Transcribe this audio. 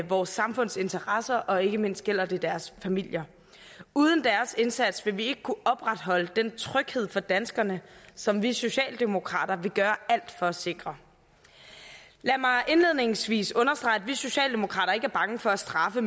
vores samfunds interesser og ikke mindst gælder det deres familier uden deres indsats ville vi ikke kunne opretholde den tryghed for danskerne som vi socialdemokrater vil gøre alt for at sikre lad mig indledningsvis understrege at vi socialdemokrater ikke er bange for at straffe